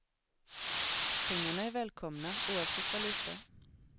Pengarna är välkomna, oavsett valuta.